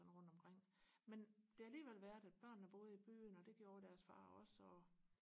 sådan rundt omkring men det har alligevel været at børnene boede i byen og det gjorde deres far også og